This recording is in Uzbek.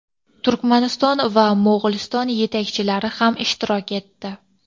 Turkmaniston va Mo‘g‘uliston yetakchilari ham ishtirok etdi.